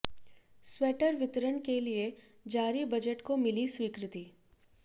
sweater वितरण के लिए जारी बजट को मिली स्वीकृति